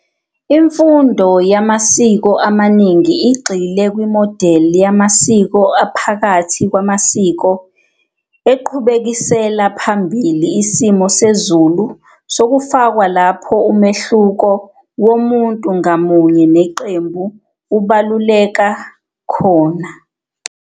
Imfundo yamasiko amaningi igxile "kwimodeli yamasiko aphakathi kwamasiko eqhubekisela phambili isimo sezulu sokufakwa lapho umehluko womuntu ngamunye neqembu ubaluleka khona."